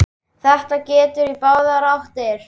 Þetta gengur í báðar áttir.